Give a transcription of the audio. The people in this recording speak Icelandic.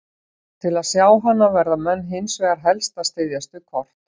Til að sjá hana verða menn hins vegar helst að styðjast við kort.